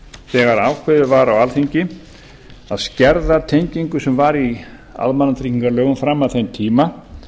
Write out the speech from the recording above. þegar ákveðið var á alþingi að skerða tengingu sem var í almannatryggingalögum fram að þeim tíma